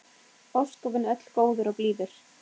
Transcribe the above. Ósköpin öll góður og blíður.